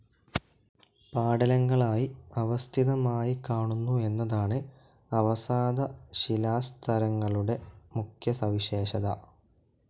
പാടലങ്ങളായി അവസ്ഥിതമായിക്കാണുന്നു എന്നതാണ് അവസാദശിലാസ്തരങ്ങളുടെ മുഖ്യ സവിശേഷത.